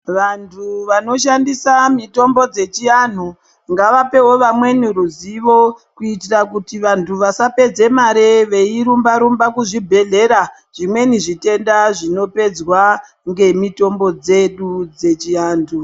Vantu vanoshandisa mitombo dzechianhu ngavapewo vamweni ruzivo kuitira kuti vantu vasapedza mare veirumba rumba kuzvibhedhlera zvimweni zvitenda zvinopedzwa nemitombo dzedu dzechiantu.